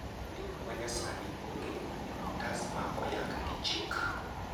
ndiko ma nyasani ogeno kuom otas ma oyang gi chik